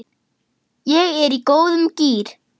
Ég er í góðum gír.